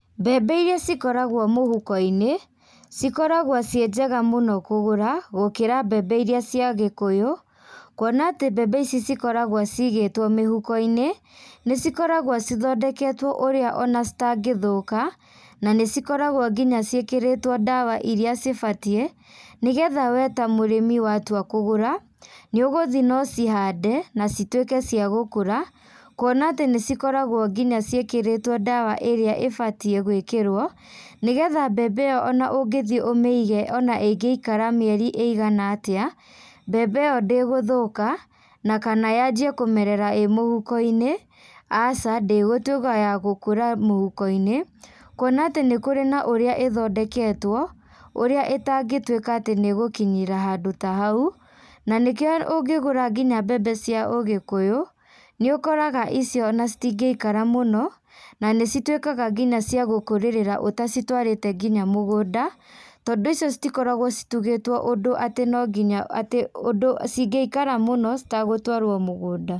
Mbembe iria cikoragwo mũhuko-inĩ, cikoragwo ciĩ njega mũno kũgũra, gũkĩra mbembe iria cia gĩkũyũ, kuona atĩ mbembe ici cikorawo ciigĩtwo mĩhuko-inĩ, nĩcikoragwo cithondeketwo ũrĩa ona citangĩthũka, na nĩcikoragwo nginya ciĩkĩrĩtwo ndawa iria cibatiĩ, nĩgetha we ta mũrĩmi watua kũgũra, nĩũgũthiĩ nocihande na citwĩke cia gũkũra, kuona atĩ nĩcikoragwo nginya ciĩkĩrĩte ndawa ĩrĩa ĩbatiĩ gwĩkĩrwo, nĩgetha mbembe ĩyo ona ũngĩthiĩ ũmĩige ona ĩngĩikara mĩeri ĩigana atĩa, mbembe ĩyo ndĩgũthũka, na kana yanjie kũmerera ĩ mũhuko-inĩ, aca ndĩgũtwĩka ya gúkũra mũhuko-inĩ, kuona atĩ nĩkũrĩ na ũrĩa ĩthondeketwo, ũrĩa ĩtangĩtwĩka atĩ nĩgũkinyĩra handũ ta hau, nanĩkĩo ũngĩgũra mbembe nginya cia ũgĩkũyũ nĩũkoraga icio ona citingĩikara mũno, na nĩcitwĩkaga nginya cia gũkũrĩrira ũtacitwarĩte nginya mũgũnda, tondũ icio citikoragwo citugĩtwo ũndũ atĩ nonginya atĩ ũndũ cingĩikara mũno citagũtwarwo mũgũnda.